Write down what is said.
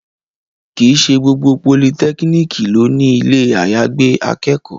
Kì í ṣe gbogbo politẹ́kíníkì ló ní ilé àyàgbé akẹ́kọ̀ọ́